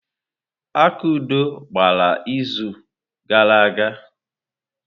Akudo gbara izu gara aga.